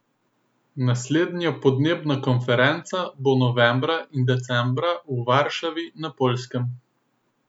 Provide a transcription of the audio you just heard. Naslednja podnebna konferenca bo novembra in decembra v Varšavi na Poljskem.